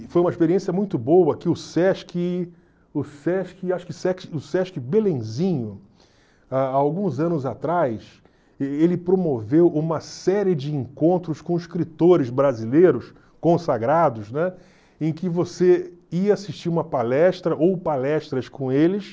E foi uma experiência muito boa que o Sesc o Sesc acho que o Sesc Belenzinho, há alguns anos atrás, ele promoveu uma série de encontros com escritores brasileiros consagrados, né, em que você ia assistir uma palestra ou palestras com eles,